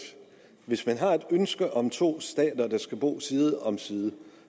har et ønske om to stater der skal bo side om side